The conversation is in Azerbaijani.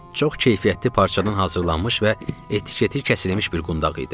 Çox keyfiyyətli parçadan hazırlanmış və etiketi kəsilmiş bir qundağ idi.